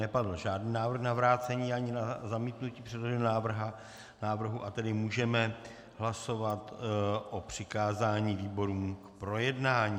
Nepadl žádný návrh na vrácení ani na zamítnutí předloženého návrhu, a tedy můžeme hlasovat o přikázání výborům k projednání.